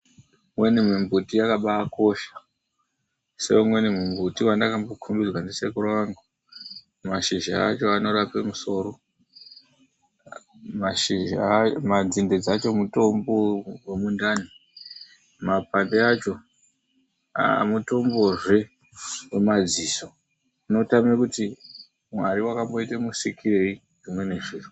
Imweni mimbuti yakabaakosha. Seumweni muti wandakambokombidzwa ndisekuru angu, Mashizha acho anorapa musoro. Nzinde racho mutombo wemundandi. Makwandi acho mutombozve wemadziso .Unoshaya kuti Mwari wakamboita musikirei zvimweni zviro.